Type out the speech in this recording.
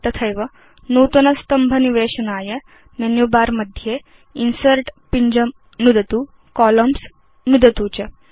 तथैव नूतन स्तम्भ निवेशनाय मेनु बर मध्ये इन्सर्ट् पिञ्जं नुदतु कोलम्न्स् नुदतु च